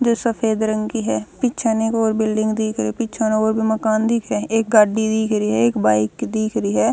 जो सफेद रंग की ह पीछे न एक और बिल्डिंग दिख री ह पीछे न और भी मकान दिख रया हएक गाड़ी दिख री ह एक बाइक दिख री ह।